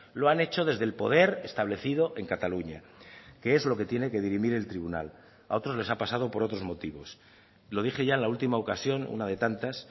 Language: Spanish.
lo han hecho desde el poder establecido en cataluña que es lo que tiene que dirimir el tribunal a otros les ha pasado por otros motivos lo dije ya en la última ocasión una de tantas